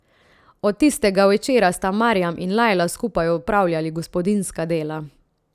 Od tistega večera sta Marjam in Lajla skupaj opravljali gospodinjska dela.